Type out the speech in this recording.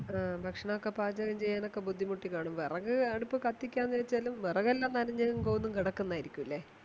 ആ ഭക്ഷണോക്കെ പാചകം ചെയ്യാനൊക്കെ ബുദ്ധിമുട്ടിക്കാണും വെറക് അടുപ്പ് കത്തിക്കാന്ന് വെച്ചാലും വെറകെല്ലാം നനഞ്ഞും കോഞ്ഞും കെടക്കുന്നതാ യിരിക്കൂലേ